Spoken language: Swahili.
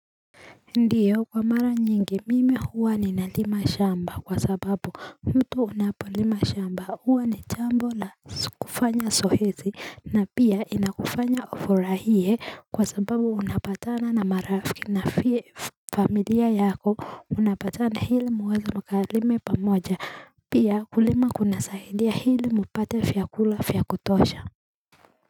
Ndiyo kwa mara nyingi mimi huwa ni nalima shamba kwa sababu mtu unapolima shamba huwa ni chambo la kufanya zoezi na pia inakufanya ufurahie kwa sababu unapatana na marafiki na pia familia yako unapatana hili mweze mkalime pa moja pia kulima kunasaidia hili mpate vyakula vya kutosha.